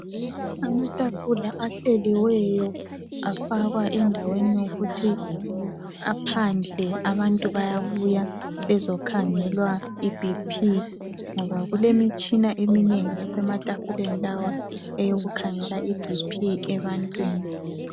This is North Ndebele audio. Amatafula ahleliweyo afakwa endaweni yokuthi aphandle abantu bayabuya bezokhangelwa ibhiphi ngoba kulemitshina eminengi esematafuleni lawa eyokukhangela ibhiphi